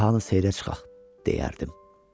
"Cahanı seyrə çıxaq", deyərdim.